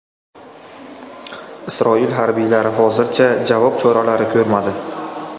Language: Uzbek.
Isroil harbiylari hozircha javob choralari ko‘rmadi.